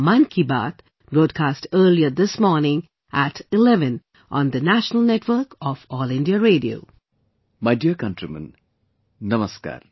My dear countrymen, Namaskar